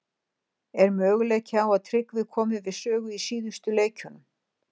Er möguleiki á að Tryggvi komi við sögu í síðustu leikjunum?